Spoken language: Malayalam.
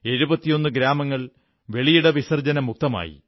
71 ഗ്രാമങ്ങൾ വെളിയിടവിസർജ്ജന മുക്തമായി